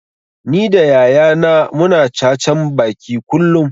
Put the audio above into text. Ni da yaya na mu na cacan baki kullum